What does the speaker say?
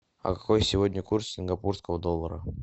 какой сегодня курс сингапурского доллара